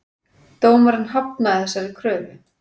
Dómari hafnaði þessari kröfu